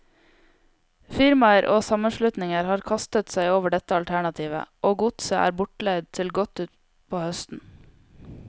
Firmaer og sammenslutninger har kastet seg over dette alternativet, og godset er bortleid til godt utpå høsten.